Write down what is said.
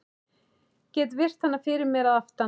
Get virt hana fyrir mér að aftan.